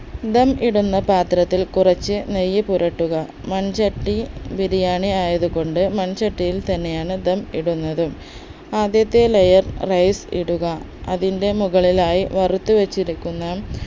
ധം ഇടുന്ന പാത്രത്തിൽ കുറച്ച് നെയ്യ് പുരട്ടുക മൺചട്ടി ബിരിയാണി ആയതുകൊണ്ട് മൺചട്ടിയിൽ തന്നെയാണ് ധം ഇടുന്നതും ആദ്യത്തെ layer rice ഇടുക അതിന്റെ മുകളിലായി വറുത്ത് വച്ചിരിക്കുന്ന